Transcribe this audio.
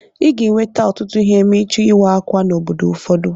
I ga-eweta ọtụtụ ihe ma ịchọọ ịwa ákwà n'obodo ụfọdụ.